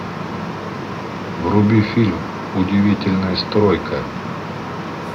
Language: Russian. вруби фильм удивительная стройка